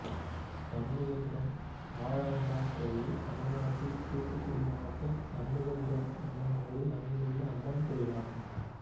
சண்முகபுரம் வாழவந்தான் கோயில் தமிழ்நாட்டில் தூத்துக்குடி மாவட்டம் சண்முகபுரம் என்னும் ஊரில் அமைந்துள்ள அம்மன் கோயிலாகும்